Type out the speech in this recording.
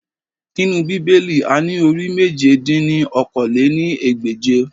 Nínú Bíbélì, a ní orí Mèje dín ní okòó-lé-ní-ẹgbẹ́je